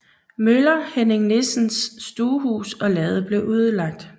Møller Henning Nissens stuehus og lade blev ødelagt